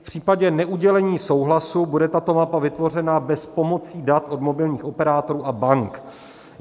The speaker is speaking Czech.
V případě neudělení souhlasu bude tato mapa vytvořena bez pomocí dat od mobilních operátorů a bank.